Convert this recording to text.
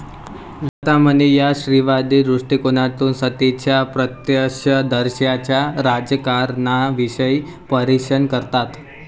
लता मणी या स्त्रीवादी दृष्टिकोनातून सतीच्या प्रत्यक्षदर्शींच्या राजकारणाविषयी परीक्षण करतात.